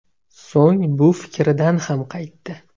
So‘ng bu fikridan ham qaytdi.